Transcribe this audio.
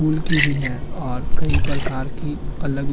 pool की भी है और कई प्रकार की अलग --